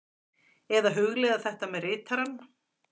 Eða hugleiða þetta með ritarann.